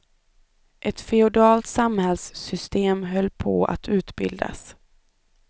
Ett feodalt samhällssystem höll på att utbildas.